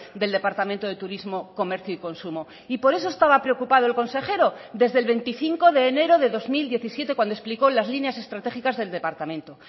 del departamento de turismo comercio y consumo y por eso estaba preocupado el consejero desde el veinticinco de enero de dos mil diecisiete cuando explicó las líneas estratégicas del departamento